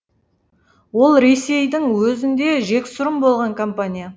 ол ресейдің өзінде жексұрын болған компания